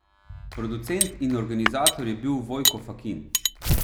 Producent in organizator je bil Vojko Fakin.